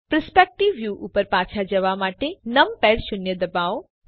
perspective view ઉપર પાછા જવા માટે નમપૅડ શૂન્ય ડબાઓ